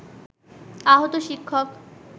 আহত শিক্ষক